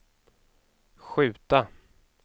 skjuta